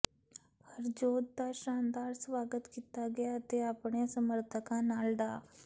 ਹਰਜੋਤ ਦਾ ਸ਼ਾਨਦਾਰ ਸਵਾਗਤ ਕੀਤਾ ਗਿਆ ਅਤੇ ਆਪਣੇ ਸਮਰਥਕਾਂ ਨਾਲ ਡਾ